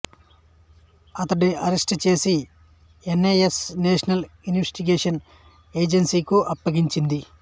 ఇతడిని arrest చేసి N I A national investigation agency కు అప్పగించింది